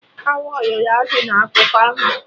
Awọ loro azụ na akụkọ ahụ